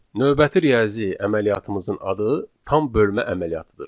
Növbəti riyazi əməliyyatımızın adı tam bölmə əməliyyatıdır.